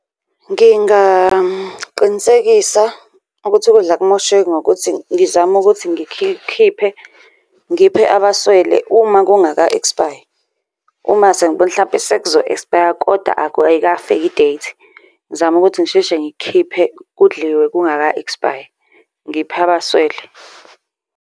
Ngingaqinisekisa ukuthi ukudla akumosheki ngokuthi ngizame ukuthi ngikhiphe ngiphe abaswele uma kungaka ekspayi. Uma sengibona ukuthi hlampe sekuzo-ekspaya koda ayikafiki i-date ngizame ukuthi ngisheshe ngikukhiphe, kudliwe kungaka ekspayi, ngiphe abaswele.